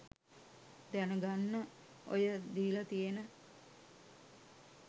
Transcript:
දැනගන්න ඔය දීල තියෙන